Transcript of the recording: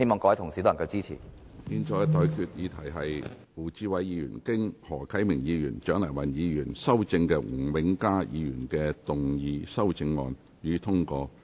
我現在向各位提出的待議議題是：胡志偉議員就經何啟明議員及蔣麗芸議員修正的吳永嘉議員議案動議的修正案，予以通過。